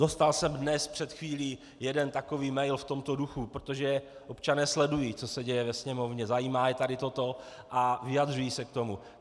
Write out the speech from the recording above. Dostal jsem dnes, před chvílí, jeden takový mail v tomto duchu, protože občané sledují, co se děje ve Sněmovně, zajímá je tady toto a vyjadřují se k tomu.